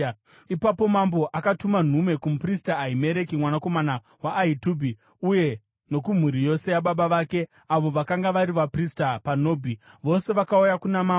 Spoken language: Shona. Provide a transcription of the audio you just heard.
Ipapo mambo akatuma nhume kumuprista Ahimereki mwanakomana waAhitubhi uye nokumhuri yose yababa vake, avo vakanga vari vaprista paNobhi, vose vakauya kuna mambo.